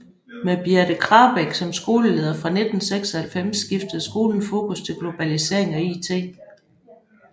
Med Birthe Krabek som skoleleder fra 1996 skiftede skolen fokus til globalisering og it